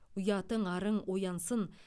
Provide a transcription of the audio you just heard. ұятың арың оянсын